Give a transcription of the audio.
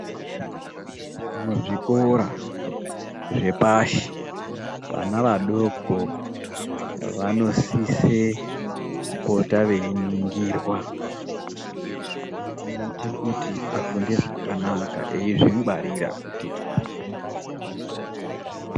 Muzvikora zvepashi vana vadoko vanosisa kupota veingirwa veita kuti vafunde zvakanaka veizvingwarira kuti .